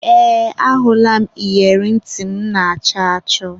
Ee, ahụla m iyeri ntị m na-achọ achọ.